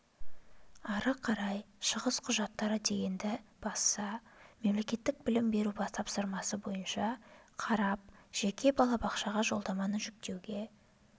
ары қарай шығыс құжаттары дегенді басса мемлекеттік білім беру тапсырысы бойынша қарап жеке балабақшаға жолдаманы жүктеуге